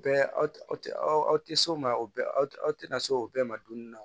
Bɛɛ aw tɛ aw tɛ aw aw aw tɛ s'o ma o tina se o bɛɛ ma dumuni na